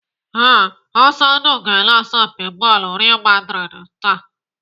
Ee, Ọsọndụ ga-ele asọmpi bọọlụ Real maldrid taa.